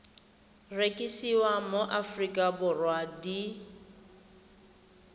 rekisiwa mo aforika borwa di